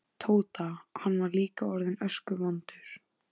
Tóta, hann var líka orðinn öskuvondur.